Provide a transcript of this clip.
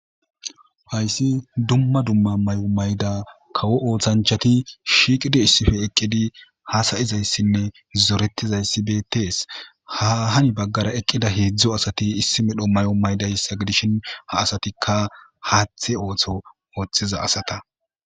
hayssi dumma dumma mayo mayda kawo oothanchati shiiqidi issife eqqidi haasayizayssinne zoretizayssi beetees. ha hani baggara eqqida heedzdzu asati issi medho mayo maydayssa gidishin ha asatikka haaththe ooththo ooththiza asata.